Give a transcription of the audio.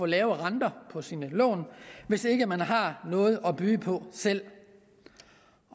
lave renter på sine lån hvis ikke man har noget at byde på selv